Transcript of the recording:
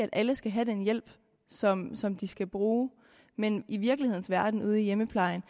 at alle skal have den hjælp som som de skal bruge men i virkelighedens verden ude i hjemmeplejen